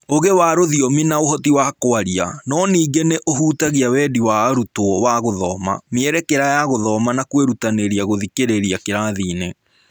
Ũũgĩ wa rũthiomi na ũhoti wa kwaria, no ningĩ nĩ ũhutagia wendi wa arutwo wa gũthoma, mĩerekera ya gũthoma na kwĩrutanĩria gũthikĩrĩria kĩrathiinĩ.